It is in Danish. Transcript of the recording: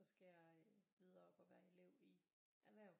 Så skal jeg videre op og være elev i erhverv